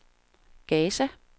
Gaza